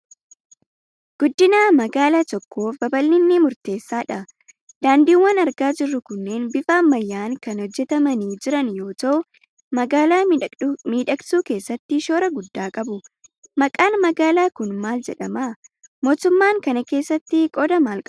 Guddina magaalaa tokkoof babal'inni murteessaa dha. Daandiiwwan argaa jirru kunneen bifa ammayyaan kan hojjetamanii jiran yoo ta'u, magaalaa miidhagsuu keessatti shoora guddaa qabu. Maqaan magaalaa kun maal jedhama? Mootummaan kana keessatti qooda maal qaba?